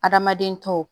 Adamaden tɔw